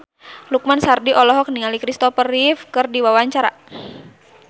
Lukman Sardi olohok ningali Kristopher Reeve keur diwawancara